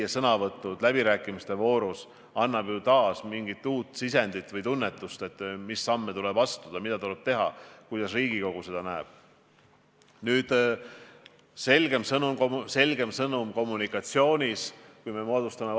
Mul on ääretult hea meel, et valitsus võtab asja väga tõsiselt ja ettenägelikult ning on andnud avalikkusele ka signaali, et esmajärjekorras võetakse selle olukorra lahendamisel kindlasti suurema tähelepanu alla ka eraettevõtlus ja inimeste hakkamasaamine.